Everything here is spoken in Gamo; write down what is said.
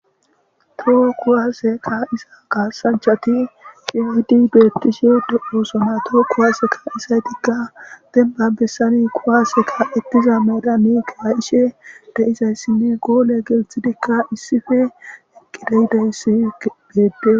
Toho kuwase qa iza gaasanchati qiyohidi beettishe de'oosona too kuwaseka isaydigka demba bessani kuwaaseka ettiza medamikaa ishe deizayssinne goole gelthidikka issife eqqideyidayssi geedde.